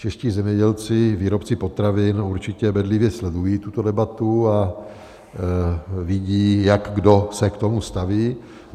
Čeští zemědělci, výrobci potravin, určitě bedlivě sledují tuto debatu a vidí, jak kdo se k tomu staví.